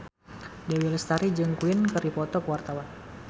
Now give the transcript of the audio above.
Dewi Lestari jeung Queen keur dipoto ku wartawan